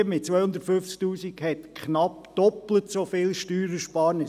Die Familie mit 250 000 Franken hätte eine knapp doppelt so hohe Steuerersparnis.